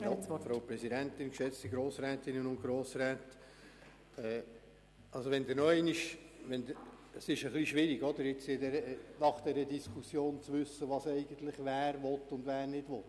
Es ist nach dieser Diskussion ein bisschen schwierig zu wissen, wer eigentlich was will und was nicht will.